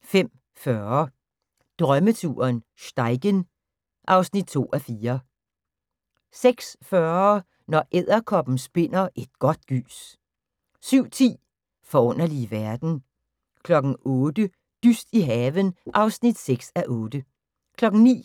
05:40: Drømmeturen - Steigen (2:4) 06:40: Når edderkoppen spinder et godt gys 07:10: Forunderlige verden 08:00: Dyst i haven (6:8) 09:00: